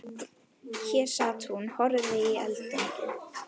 Hér sat hún og horfði í eldinn.